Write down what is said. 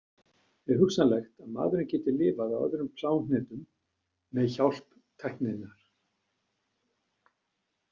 Er hugsanlegt að maðurinn geti lifað á öðrum plánetum með hjálp tækninnar?